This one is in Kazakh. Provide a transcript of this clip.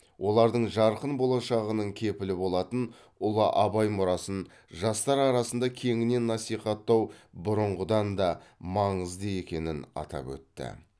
олардың жарқын болашағының кепілі болатын ұлы абай мұрасын жастар арасында кеңінен насихаттау бұрынғыдан да маңызды екенін атап өтті